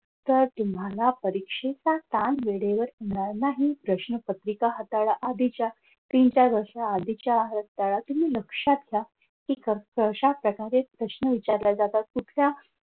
तर तुम्हाला परीक्षेचा ताण वेळेवर होणार नाही प्रश्नपत्रिका हाताळा आधीच्या तीन-चार वर्ष आधीच्या हाताळा तुम्ही लक्षात घ्या तिथं कशाप्रकारे प्रश्न विचारले जातात. कुठल्या